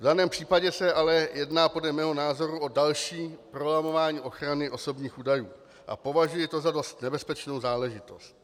V daném případě se ale jedná podle mého názoru o další prolamování ochrany osobních údajů a považuji to za dost nebezpečnou záležitost.